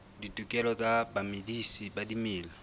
ditokelo tsa bamedisi ba dimela